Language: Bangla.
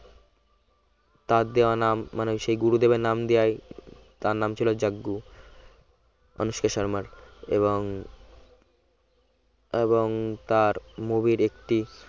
তার দেওয়া নাম মানে সে গুরুদেবের নাম দেওয়াই তার নাম ছিল জাজ্ঞু অনুষ্কা শর্মার এবং এবং তার movie র একটি